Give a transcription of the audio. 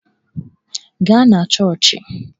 Gaa na chọọchị!